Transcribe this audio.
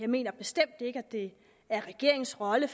mener at det er regeringens rolle